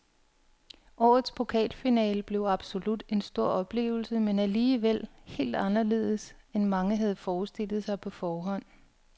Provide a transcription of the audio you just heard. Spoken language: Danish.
Årets pokalfinale blev absolut en stor oplevelse, men alligevel helt anderledes end mange havde forestillet sig på forhånd.